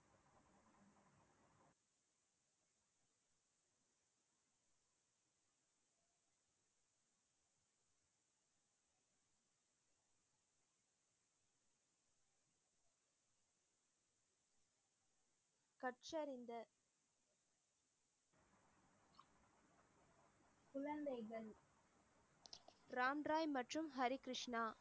ராம் ராய் மற்றும் ஹரிகிருஷ்ணா